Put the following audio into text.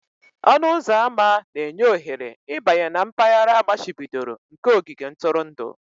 Ọnụ ụzọ ámá na-enye ohere ịbanye na mpaghara amachibidoro nke ogige ntụrụndụ.